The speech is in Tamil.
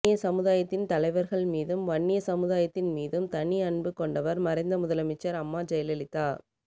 வன்னிய சமுதாயத்தின் தலைவர்கள் மீதும் வன்னிய சமுதாயத்தின் மீதும் தனிஅன்பு கொண்டவர் மறைந்த முதலமைச்சர் அம்மாஜெயலலிதா